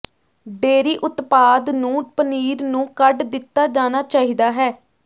dairy ਉਤਪਾਦ ਨੂੰ ਪਨੀਰ ਨੂੰ ਕੱਢ ਦਿੱਤਾ ਜਾਣਾ ਚਾਹੀਦਾ ਹੈ